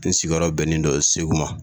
Ne sigiyɔrɔ bɛnnen dɔ Segu ma